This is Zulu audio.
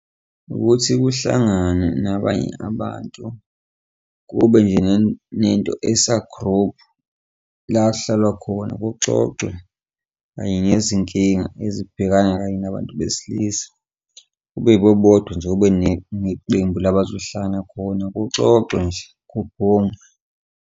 Ukuthi kuhlanganwe nabanye abantu kube nje nento esa-group la kuhlalwa khona kuxoxwe kanye nezinkinga ezibhekana kanye nabantu besilisa, kube yibo bodwa nje, kube neqembu la bazohlala khona kuxoxwe nje, kubhungwe.